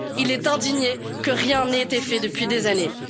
Il est indigné que rien n'ait été fait depuis des années.